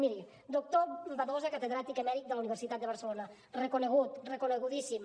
miri doctor badosa catedràtic emèrit de la universitat de barcelona reconegut reconegudíssim